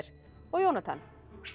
og Jónatan